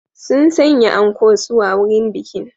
Sun sanya anko suwa wurin bikin